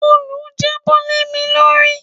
Òòlù jábọ́ lé mi lórí.